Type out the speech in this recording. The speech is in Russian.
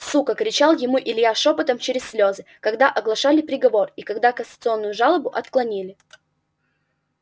сука кричал ему илья шёпотом через слёзы когда оглашали приговор и когда кассационную жалобу отклонили